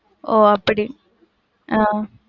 ஒ அப்படி ஆஹ்